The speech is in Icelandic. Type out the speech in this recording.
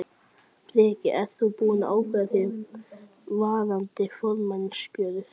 Breki: Ert þú búinn að ákveða þig varðandi formannskjörið?